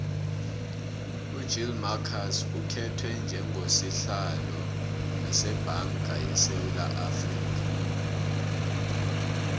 ugill marcus ukhetwe njengo sihlalo sebanga yesewula afrika